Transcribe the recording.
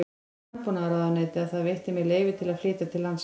Landbúnaðarráðuneytið að það veitti mér leyfi til að flytja til landsins